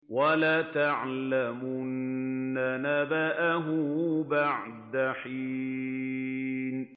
وَلَتَعْلَمُنَّ نَبَأَهُ بَعْدَ حِينٍ